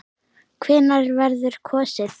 Hvenær verður kosið?